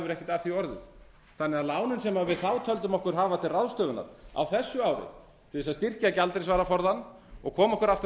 af því orðið þannig að lánin sem við þá töldum okkur hafa til ráðstöfunar á þessu ári til að styrkja gjaldeyrisvaraforðann og koma okkur aftur á